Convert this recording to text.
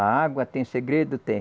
A água tem segredo, tem.